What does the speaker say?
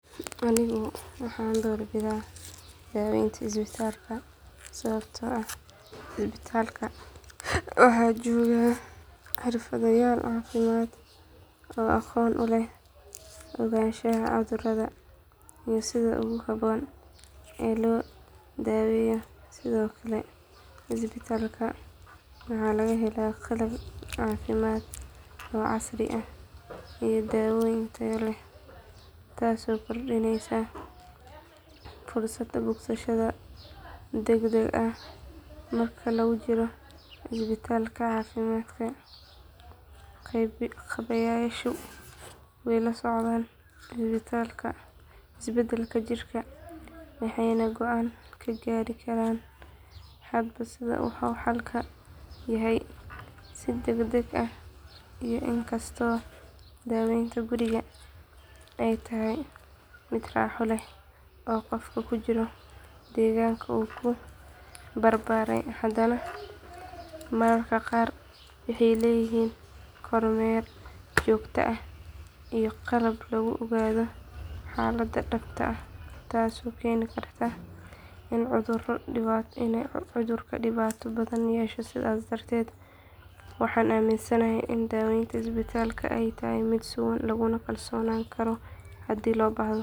Anigo waxan doorbidha daweynta ispitalka sawabto ah ispitalka waxa jooga xirfadhayaal cafimaad oo aqon u leh ogashaha cudhuradha iyo sidha ugu habon ee lodaweya sidhokale ispitalka waxa lagahela qalab cafimaad oo casri ah iya daaweyan taya leh. Taaso kordineysa fursad bogsashadha dagdag ah, marka lugujiro ispitalka caafimaadka qabeyasho way lasocdan ispitalka isbadal jirka waxayna goan Ka gaari karan waxa wuxu xalka yahay si dagdag ah inkasto daaweynta guriga ay tahay mid raaxo leh oo qofka kujura deeganka u kubarbaray adana mararka qaar waxay leyihin koor meer jogta ah iyo qalab lagu ogatha xalada dabta ah, taaso keni Karta in cudhurka dibata badhan yesha sidhas darted waxan aminsanahay daaweynta ispitalka ay tahay mid sugan laguna kalsonan Kara hdii lobahda